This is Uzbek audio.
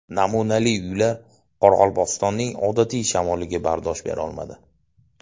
Namunali uylar Qoraqalpog‘istonning odatiy shamoliga bardosh berolmadi.